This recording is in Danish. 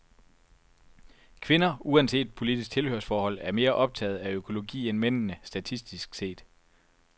Kvinder, uanset politisk tilhørsforhold, er mere optaget af økologi end mændene, statistisk set.